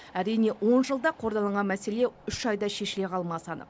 әрине он жылда қордаланған мәселе үш айда шешіле қалмасы анық